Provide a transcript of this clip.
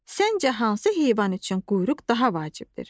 Səncə hansı heyvan üçün quyruq daha vacibdir?